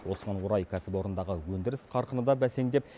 осыған орай кәсіпорындағы өндіріс қарқыны да бәсеңдеп